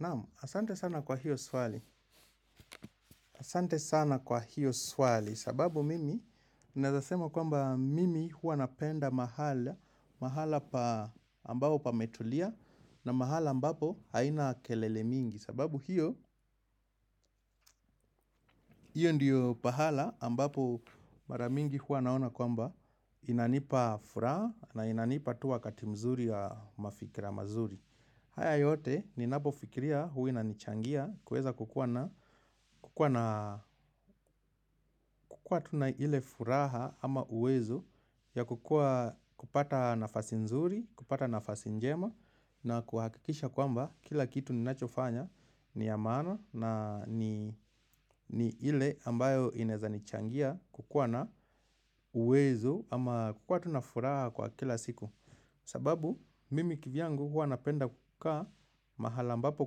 Naamu, asante sana kwa hiyo swali, asante sana kwa hiyo swali, sababu mimi nawezasema kwamba mimi hua napenda mahala, mahala ambapo pametulia na mahala ambapo haina kelele mingi, sababu hiyo, hiyo ndio pahala ambapo mara mingi huwa naona kwamba inanipa furaha na inanipa tu wakati mzuri wa mafikira mazuri. Haya yote ninapofikiria huwa inanichangia kuweza kukuwa na, kukuwa na tu na ile furaha ama uwezo ya kupata nafasi nzuri, kupata nafasi njema na kuhakikisha kwamba kila kitu ninachofanya ni ya maana na ni ile ambayo inaweza nichangia kukuwa na uwezo ama kukuwa tu na furaha kwa kila siku. Sababu mimi kivyangu huwa napenda kukaa mahala ambapo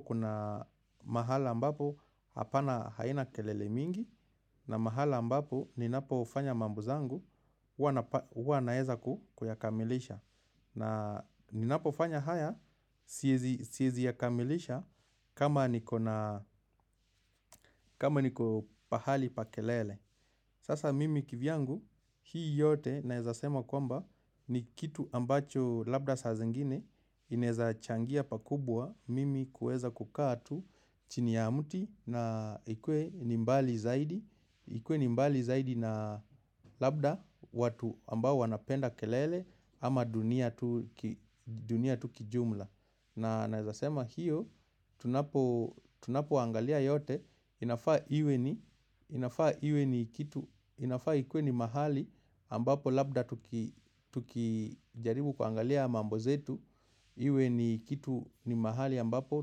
kuna, mahala mbapo hapana haina kelele mingi na mahala ambapo ninapo fanya mambo zangu huwa naweza kuyakamilisha. Na ninapofanya haya siwezi yakamilisha kama niko na kama niko pahali pa kelele. Sasa mimi kivyangu hii yote naweza sema kwamba ni kitu ambacho labda saa zengine inawezachangia pakubwa mimi kuweza kukaa tu chini ya mti ni mbali zaidi, ikue ni mbali zaidi na labda watu ambao wanapenda kelele ama dunia tu kijumla. Na naweza sema hio, tunapo angalia yote, inafaa iwe ni kitu, inafaa ikuwe ni mahali ambapo labda tukijaribu kuangalia mambo zetu, iwe ni kitu ni mahali ambapo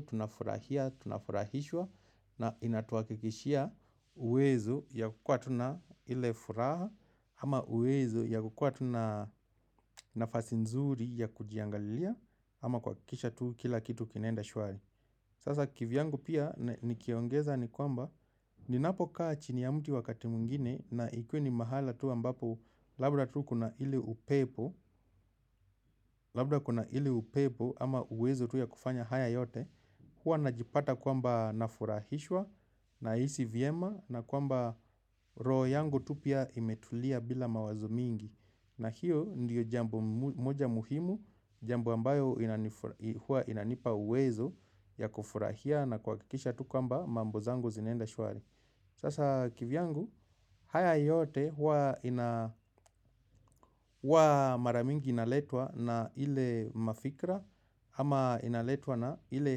tunafurahia, tunafurahishwa, na inatuhakikishia uwezo ya kukuwa tu na ile furaha, ama uwezo ya kukuwa tu na nafasi nzuri ya kujiangalia ama kuhakikisha tuu kila kitu kinaenda shwari. Sasa kivyangu pia nikiongeza ni kwamba, ninapokaa chini ya mti wakati mwingine na ikue ni mahala tu ambapo labda tu kuna ile upepo labda kuna ile upepo ama uwezo tu ya kufanya haya yote, huwa najipata kwamba nafurahishwa nahisi vyema na kwamba roho yangu tu pia imetulia bila mawazo mingi. Na hio ndio jambo moja muhimu, jambo ambayo huwa inanipa uwezo ya kufurahia na kuhakikisha tu kwamba mambo zangu zinaenda shwari. Sasa kivyangu, haya yote huwa mara mingi inaletwa na ile mafikra ama inaletwa na ile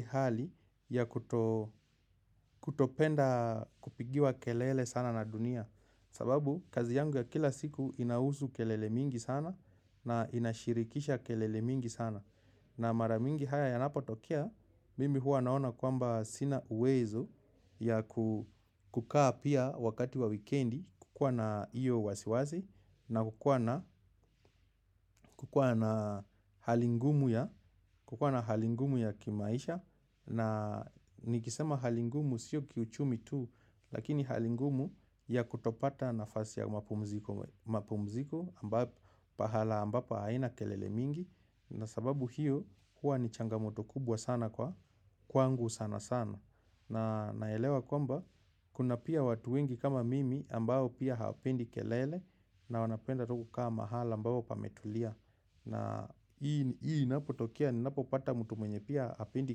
hali ya kutopenda kupigiwa kelele sana na dunia. Sababu kazi yangu ya kila siku inahusu kelele mingi sana na inashirikisha kelele mingi sana. Na mara mingi haya yanapotokea, mimi huwa naona kwamba sina uwezo ya kukaa pia wakati wa wikendi, kuwa na hiyo wasiwasi na kukuwa na kukua na hali ngumu ya kimaisha. Na nikisema hali ngumu sio kiuchumi tu. Lakini hali ngumu ya kutopata nafasi ya mapumziko pahala ambapo haina kelele mingi. Na sababu hiyo huwa ni changamoto kubwa sana kwa kwangu sana sana. Na naelewa kwamba kuna pia watu wengi kama mimi ambao pia hawapendi kelele. Na wanapenda tu kukaa mahala ambapo pametulia. Na hii inapotokea, ninapopata mtu mwenye pia hapendi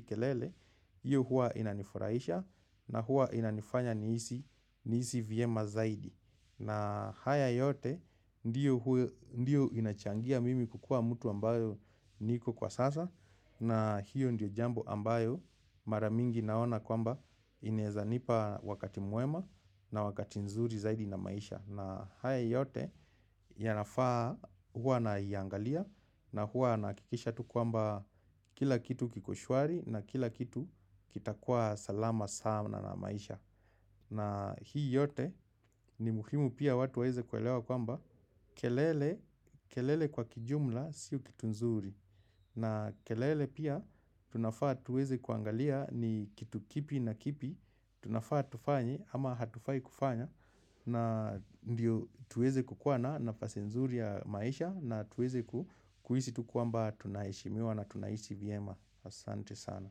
kelele hio huwa inanifurahisha na huwa inanifanya nihisi vyema zaidi. Na haya yote ndio inachangia mimi kukuwa mtu ambayo niko kwa sasa. Na hiyo ndio jambo ambayo mara mingi naona kwamba inawezanipa wakati mwema na wakati nzuri zaidi na maisha. Na haya yote yanafaa huwa naiangalia na huwa nahakikisha tu kwamba kila kitu kiko shwari na kila kitu kitakuwa salama saana na maisha. Na hii yote ni muhimu pia watu waweze kuelewa kwamba kelele kelele kwa kijumla sio kitu nzuri. Na kelele pia tunafaa tuweze kuangalia ni kitu kipi na kipi, tunafaa tufanye ama hatufai kufanya na ndio tuweze kukuwa na nafasi nzuri ya maisha na tuweze kuhisi tu kwamba tunaheshimiwa na tunaishi vyema, asante sana.